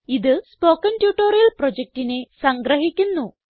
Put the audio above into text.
ഇത് spoken tutorial പ്രൊജക്റ്റിനെ സംഗ്രഹിക്കുന്നു